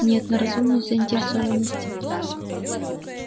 нет на разумную заинтересованность